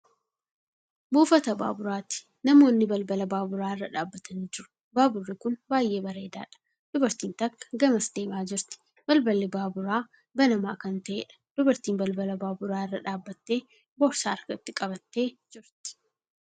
Buufata baaburaati. Namoonni balbala baaburraa irra dhaabbatanii jiru. Baaburri kuni baay'ee dheeradha. Dubartiin takka gamas deemaa jirti. Balballi baaburaa banamaa kan ta'eedha. Dubartiin balbala baaburaa irra dhaabbattee boorsaa harkatti qabattee jirti.